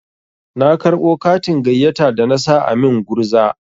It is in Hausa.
Na karɓo katin gayyata da na sa a min gurza.